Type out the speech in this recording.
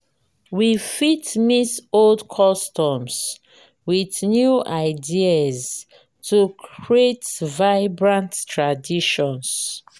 we fit mix old customs with new ideas to create vibrant traditions.